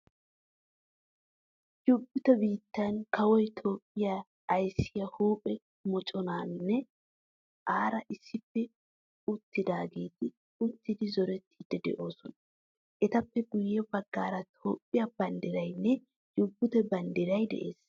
Jubute biittaa kawoy Toophphiyaa aysiyaa huuphphee mocconaynne aara issippe ootiyageeti uttidi zorettidi de'oosona. Etappe guye baggaara Toophphiyaa banddiraynne Jubbute biittaa banddiray de'ees.